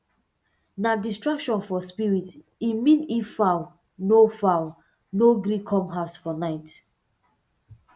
nah distraction for spirit e mean if fowl no fowl no gree come house for night